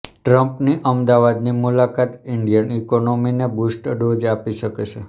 ટ્રમ્પની અમદાવાદની મુલાકાત ઇન્ડિયન ઇકોનોમીને બૂસ્ટર ડોઝ આપી શકે છે